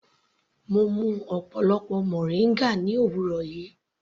Mo mú ọ̀pọlọpọ moringa ní òwúrọ̀ yìí.